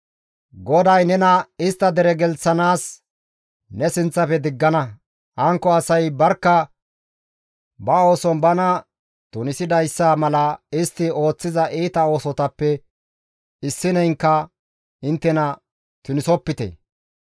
«GODAY nena istta dere gelththanaas ne sinththafe diggana; hankko asay barkka ba ooson bana tunisidayssa mala istti ooththiza iita oosotappe issineynka inttena tunisopite.